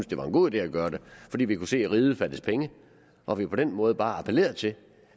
det var en god idé at gøre det fordi vi kunne se at riget fattedes penge og at vi på den måde bare appellerede til